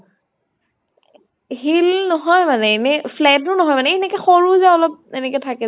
heel নহয় মানে এনেই flat ও নহয় । এই এনেকে সৰু যে অলপ এনেকে থাকে যে ।